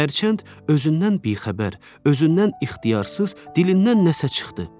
Hərçənd özündən bixəbər, özündən ixtiyarsız, dilindən nəsə çıxdı.